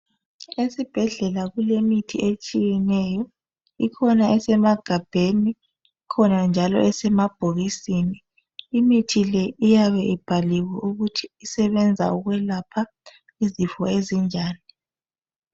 Esibhedlela kulemithi etshiyeneyo ikhona esemagabheni, ikhona njalo esemabhokisini. Imithi le iyabe ibhaliwe ukuthi isebenza ukwelapha izifo ezinjani.